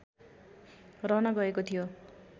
रहन गएको थियो